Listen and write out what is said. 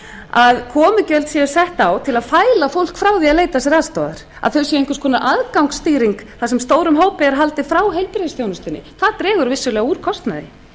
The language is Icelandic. að komugjöld séu sett á til að fæla fólk frá því að leita sér aðstoðar að þau séu einhvers konar aðgangsstýring þar sem stórum hópi er haldið frá heilbrigðisþjónustunni það dregur vissulega úr kostnaði